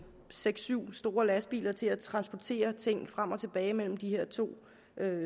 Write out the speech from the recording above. seks syv store lastbiler til at transportere ting frem og tilbage mellem de her to